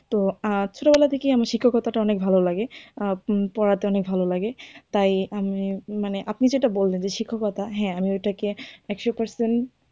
তো অনেক ছোটো বেলা থেকেই আমি শিক্ষকতাটা অনেক ভালো লাগে পড়াতে অনেক ভালো লাগে তাই উম মানে আপনি যেটা বললেন যে শিক্ষকতা হ্যাঁ ওই টাকে একশো percent,